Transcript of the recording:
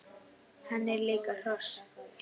Hann er líka hross!